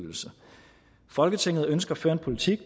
folk